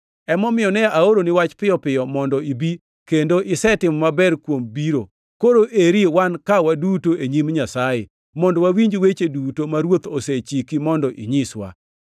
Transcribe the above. Emomiyo ne aoroni wach piyo piyo mondo ibi, kendo isetimo maber kuom biro. Koro eri wan ka waduto e nyim Nyasaye, mondo wawinji weche duto ma Ruoth osechiki mondo inyiswa.”